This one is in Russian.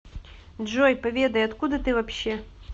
джой поведай откуда ты вообще